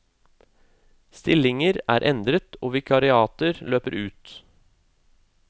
Stillinger er endret og vikariater løper ut.